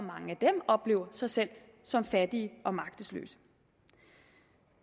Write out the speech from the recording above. oplever sig selv som fattige og magtesløse